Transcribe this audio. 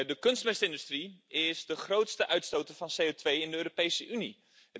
De kunstmestindustrie is de grootste uitstoter van CO2 in de Europese Unie.